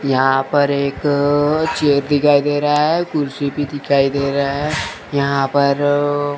यहां पर एक चेयर दिखाई दे रहा है कुर्सी भी दिखाई दे रहा है यहां पर--